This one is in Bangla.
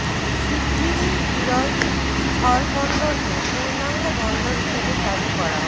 শিগগিরই বিরল স্থলবন্দরকে পূর্ণাঙ্গ বন্দর হিসেবে চালু করা হবে